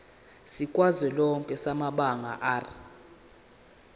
sikazwelonke samabanga r